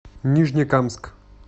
нижнекамск